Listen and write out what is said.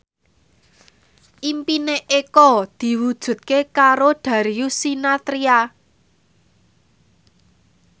impine Eko diwujudke karo Darius Sinathrya